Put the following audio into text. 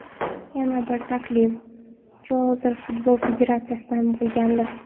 Yana bir taklif Jazoir Futbol Federatsiyasidan bo‘lgandi.